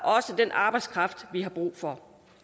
den arbejdskraft vi har brug for